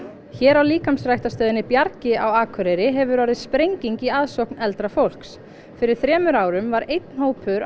hér á líkamsræktarstöðinni Bjargi á Akureyri hefur orðið sprenging í ásókn eldra fólks fyrir þremur árum var einn hópur á